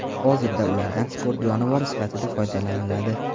Hozirda ulardan sport jonivori sifatida foydalaniladi.